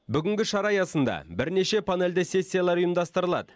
бүгінгі шара аясында бірнеше панельді сессиялар ұйымдастырылады